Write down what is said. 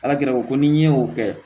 Ala kira ko n'i ye o kɛ